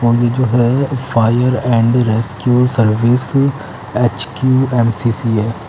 और ये जो है fire and rescue service H Q M C C है ।